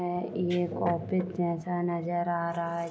यह एक ऑफिस जैसा नजर आ रहा है।